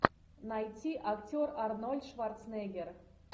найти актер арнольд шварценеггер